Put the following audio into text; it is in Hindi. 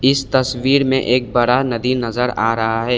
इस तस्वीर में एक बड़ा नदी नजर आ रहा है।